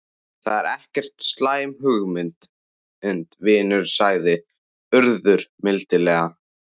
Það er ekki slæm hugmynd, vinur sagði Urður mildilega.